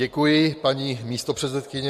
Děkuji, paní místopředsedkyně.